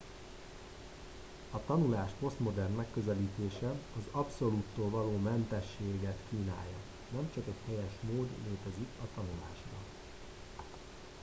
a tanulás posztmodern megközelítése az abszolúttól való mentességet kínálja nem csak egy helyes mód létezik a tanulásra